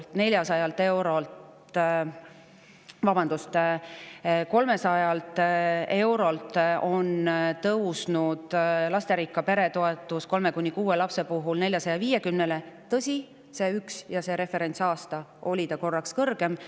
Selle aja jooksul oleme tõstnud lasterikka pere toetust kolme kuni kuue lapse eest 300 eurolt 450 eurole, tõsi, ühel aastal, referentsaastal, oli see korraks kõrgem.